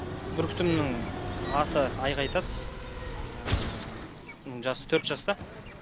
бүркітімнің аты айғайтас бұның жасы төрт жаста